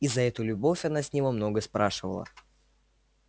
и за эту любовь она с него много спрашивала